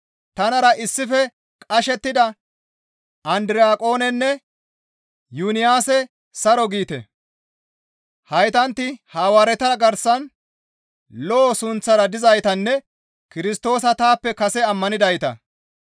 Tanara issife qashettida Andiraqonenne Yuniyaase saro giite; heytantti Hawaareta garsan lo7o sunththara dizaytanne Kirstoosa taappe kase ammanidayta.